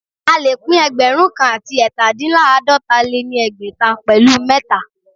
A lè pín ẹgbẹ̀rún kan àti ẹ̀tadínláàdọ́ta lé ní ẹgbẹ́ta pẹ̀lu mẹ̀ta